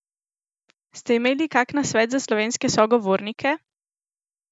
Ste imeli kak nasvet za slovenske sogovornike?